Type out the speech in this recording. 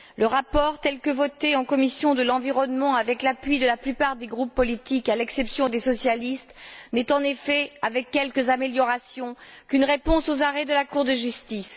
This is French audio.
Le rapport, tel que voté en commission de l'environnement, avec l'appui de la plupart des groupes politiques à l'exception des socialistes, n'est en effet, avec quelques améliorations, qu'une réponse aux arrêts de la Cour de justice.